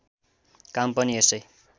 काम पनि यसै